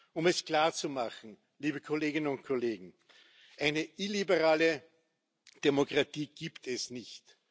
Um es klarzumachen, liebe Kolleginnen und Kollegen, eine illiberale Demokratie gibt es nicht.